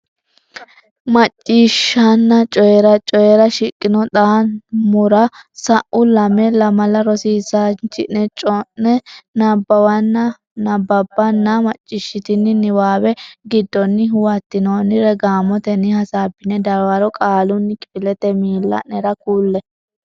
Macciishshanna Coyi ra Coyi ra shiqqino xa muwara sa u lame lamala rosiisaanchi ne cho ne nabbawanna bbanna macciishshitini niwaawe giddonni huwattinoonnire gaamotenni hasaabbine dawaro qaalunni kifilete miilla nera kulle.